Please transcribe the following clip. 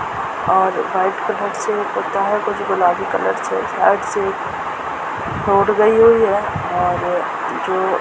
और white colour से होता है कुछ गुलाबी कलर से और जो --